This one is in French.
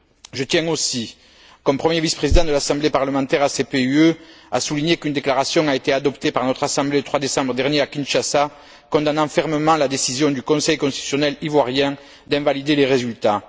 Je tiens aussi, en tant que premier vice président de l'Assemblée parlementaire ACP UE, à souligner qu'une déclaration a été adoptée par notre assemblée le 3 décembre dernier à Kinshasa condamnant fermement la décision du Conseil constitutionnel ivoirien d'invalider les résultats.